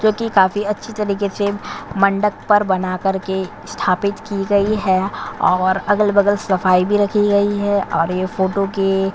जो की काफी अच्छी तरीके से मंडप पर बना करके स्थापित की गई है और अगल-बगल सफाई भी रखी गई है और यह फोटो के--